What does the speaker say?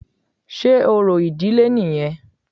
Sé orò ìdílé nìyẹn?